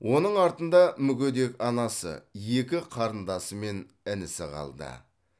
оның артында мүгедек анасы екі қарындасы мен інісі қалды